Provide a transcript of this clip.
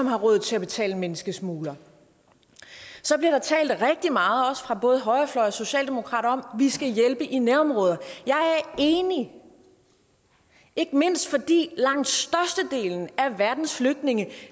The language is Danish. har råd til at betale menneskesmuglere så bliver der talt rigtig meget fra både højrefløjen og socialdemokrater om at vi skal hjælpe i nærområderne jeg er enig ikke mindst fordi langt størstedelen af verdens flygtninge